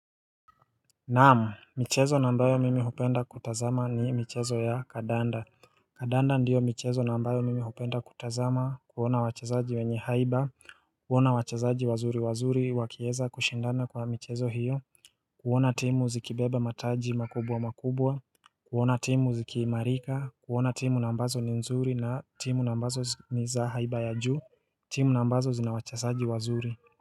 Naam, michezo na ambayo mimi hupenda kutazama ni michezo ya kadanda. Kadanda ndiyo michezo na ambayo mimi upenda kutazama kuona wachazaji wenye haiba kuona wachezaji wazuri wazuri wakieza kushindana kwa michezo hiyo kuona timu zikibeba mataji makubwa makubwa kuona timu zikiimarika kuona timu na smbazo ni nzuri na timu na ambazo ni za haiba ya juu timu na ambazo zina wachezaji wazuri.